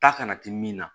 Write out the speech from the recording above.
Ta kana timinan